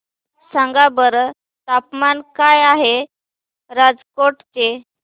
सांगा बरं तापमान काय आहे राजकोट चे